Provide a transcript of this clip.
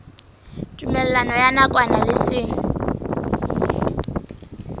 tumellano ya nakwana le seng